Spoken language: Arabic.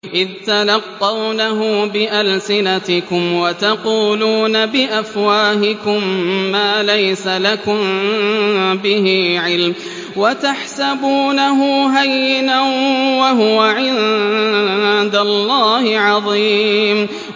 إِذْ تَلَقَّوْنَهُ بِأَلْسِنَتِكُمْ وَتَقُولُونَ بِأَفْوَاهِكُم مَّا لَيْسَ لَكُم بِهِ عِلْمٌ وَتَحْسَبُونَهُ هَيِّنًا وَهُوَ عِندَ اللَّهِ عَظِيمٌ